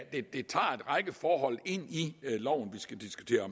en i loven